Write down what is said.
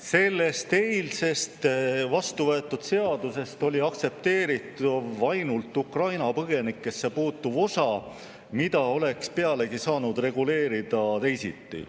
Sellest eile vastuvõetud seadusest oli aktsepteeritav ainult Ukraina põgenikesse puutuv osa, mida oleks pealegi saanud reguleerida teisiti.